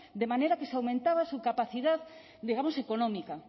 de manera que se aumentaba su capacidad digamos económica